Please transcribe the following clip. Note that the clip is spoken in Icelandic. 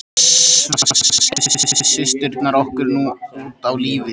Þess vegna skelltum við systurnar okkur nú út á lífið.